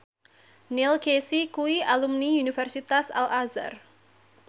Neil Casey kuwi alumni Universitas Al Azhar